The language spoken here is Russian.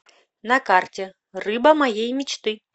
на карте рыба моей мечты